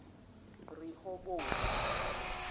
rehoboti